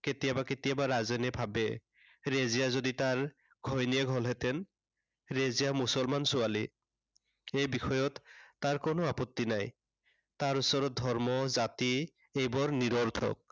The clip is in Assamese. কেতিয়াবা কেতিয়াবা ৰাজেনে ভাবে, ৰেজিয়া যদি তাৰ ঘৈণীয়েক হলহেঁতেন। ৰেজিয়া মুছলমান ছোৱালী। এই বিষয়ক তাৰ কোনো আপত্তি নাই। তাৰ ওচৰত ধৰ্ম, জাতি এইবোৰ নিৰৰ্থক।